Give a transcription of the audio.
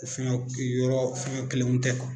O fɛngɛ yɔrɔ fɛngɛ kelenw tɛ